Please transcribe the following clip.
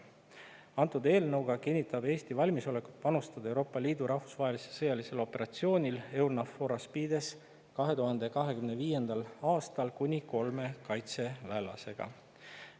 Antud eelnõu kohaselt kinnitab Eesti valmisolekut panustada Euroopa Liidu rahvusvahelisel sõjalisel operatsioonil EUNAVFOR ASPIDES 2025. aastal kuni kolme kaitseväelasega.